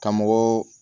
Ka mɔgɔw